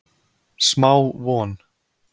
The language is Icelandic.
Smá von